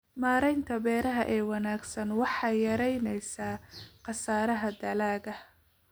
Maaraynta beeraha ee wanaagsan waxay yaraynaysaa khasaaraha dalagga.